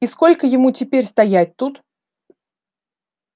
и сколько ему теперь стоять тут